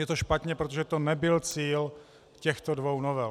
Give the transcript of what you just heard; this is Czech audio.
Je to špatně, protože to nebyl cíl těchto dvou novel.